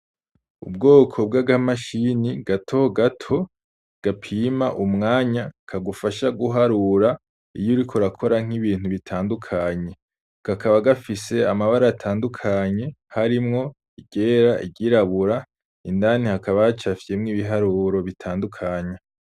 Ubwoko bwaka mashini gato gato gapima umwanya kagufasha guharura iyo uriko urakora nk’ibintu bitandukanye ,kakaba gafise amabara atandukanye harimwo iryera ,iryirabura indani hakaba hacafyemwo ibiharuro bitandukanye.